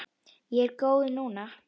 Ég er góð núna.